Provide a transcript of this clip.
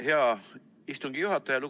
Hea istungi juhataja!